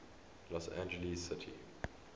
los angeles city